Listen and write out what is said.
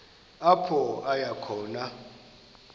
apho aya khona